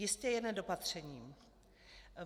Jistě jen nedopatřením.